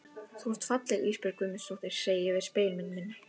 Þú ert falleg Ísbjörg Guðmundsdóttir, segi ég við spegilmyndina.